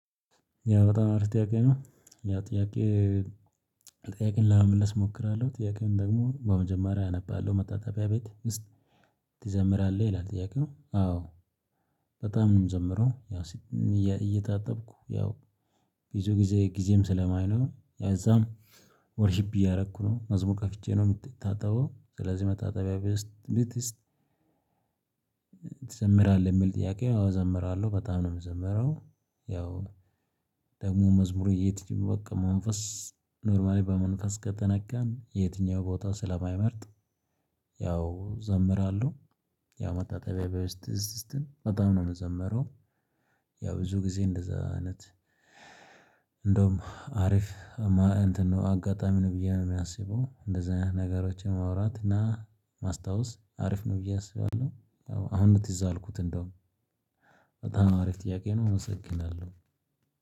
ያው በጣም አሪፍ ጥያቄ ነው ያው ጥያቄ ጥያቄን ለመመለስ እሞክራለሁ ጥያቄው ደግሞ በመጀመሪያ አነባለሁ። መታጠቢያ ቤት ትዘምራለህ ይላል። ጥያቄው አዎ በጣም ነው የምዘምረው። ያው እየታጠብኩ ያው ቢዙ ጊዜ ጊዜም ስለማይኖር ለዛም ዎርሽፕ እያደረኩ ነው መዝሙር ከፍቼ ነው የምታጠበው። ስለዚህ የመታጠቢያ ቤት ውስት። ትዘምራለህ የሚል ጥያቄ አዘምራለሁ በጣም ነው የምዘምረው። ያው ደግሞ መዝሙሩ የትኛው ቦታ መንፈስ ኖርማሊ በመንፈስ ከተነካን የትኛው ቦታ ስለማይመርጥ። ያው ዘምራለሁ። ያው መታጠቢያ ቤት ውስጥም በጣም ነው የምዘምረው። ያው ብዙ ጊዜ እንደዛ አይነት። እንደውም አሪፍ። እንትን ነው አጋጣሚ ነው ብዬ የማስበው። እንደዛ ነገሮችን ማውራት እና ማስታወስ አሪፍ ነው ብዬ አስባለሁ። አሁን ነው ትዝ አለኝ። እንደውም በጣም አሪፍ ጥያቄ ነው። እመሰግናለሁ።